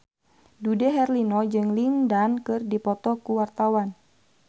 Dude Herlino jeung Lin Dan keur dipoto ku wartawan